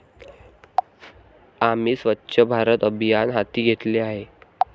आम्ही स्वच्छ भारत अभियान हाती घेतले आहे.